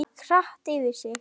Þetta gekk hratt fyrir sig.